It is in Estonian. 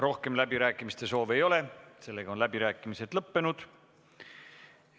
Rohkem läbirääkimiste soovi ei ole, läbirääkimised on lõppenud.